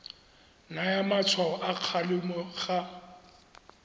naya matshwao a kgalemo ga